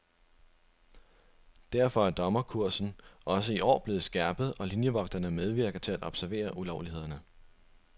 Derfor er dommerkursen også i år blevet skærpet, og linjevogterne medvirker til at observere ulovlighederne.